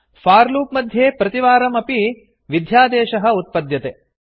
for loop मध्ये प्रतिवारम् अपि सर्वदा अपि विध्यादेशः कोड् उत्पद्यते